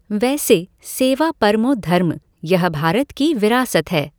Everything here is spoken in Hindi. वैसे सेवा परमो धर्मः यह भारत की विरासत है।